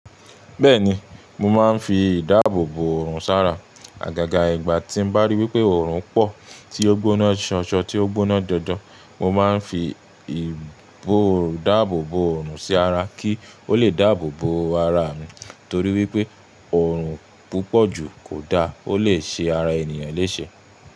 Bẹ́ẹ̀ni, mo máa ń fi ìdáàbòbò oòrùn sára. Àgàgà ìgbà tí bá rí wípé oòrùn pọ̀ tí ó gbóná ṣọṣọ tí ó gbóná jojo, mo máa ń fi ìbòòrù dáàbòbò oòrùn sí ara kí ó lè dáàbòbò ara mi. Nítorí wípé oòrùn púpọ̀jù kò da, ó lè ṣe ara ènìyàn léṣe.